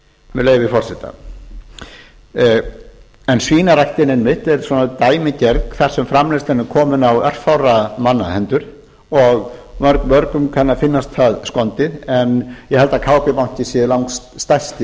með leyfi forseta en svínarækt einmitt er svona dæmigerð þar sem framleiðslan er komin á örfárra manna hendur og mörgum kann að finnast það skondið en ég held að kb banki sé langstærsti